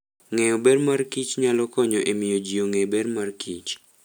Ng'eyo ber mar kichnyalo konyo e miyo ji ong'e ber mar kich